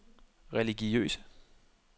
religiøse